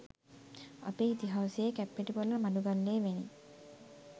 අපේ ඉතිහාසයේ කැප්පෙටිපොල මඩුගල්ලේ වැනි